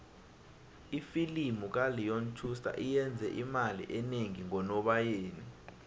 ifilimu kaleon schuster iyenze imali enengi ngonobayeni